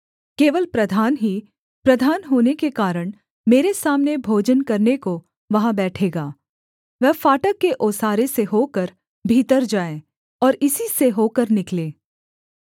केवल प्रधान ही प्रधान होने के कारण मेरे सामने भोजन करने को वहाँ बैठेगा वह फाटक के ओसारे से होकर भीतर जाए और इसी से होकर निकले